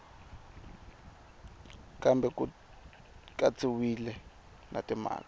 kambe ku katsiwile na timhaka